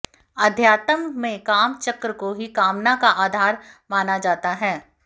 आध्यात्म में काम चक्र को ही कामना का आधार माना जाता है